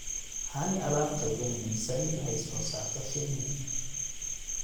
Honey - Alaabta ugu muhiimsan ee ay soo saarto shinni.